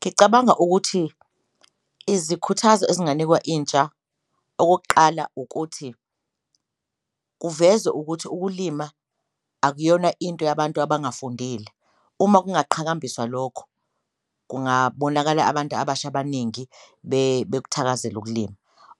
Ngicabanga ukuthi izikhuthazo ezinganikwa intsha okokuqala ukuthi kuvezwe ukuthi ukulima akuyona into yabantu abangafundile, uma kungaqhakambiswa lokho kungabonakala abantu abasha abaningi bekuthakazela ukulima.